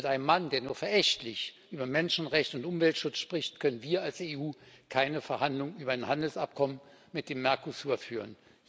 Mit einem Mann, der nur verächtlich über Menschenrechte und Umweltschutz spricht, können wir als Europäische Union keine Verhandlungen über ein Handelsabkommen mit dem Mercosur führen.